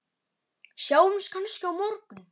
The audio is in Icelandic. Sjáumst kannski á morgun!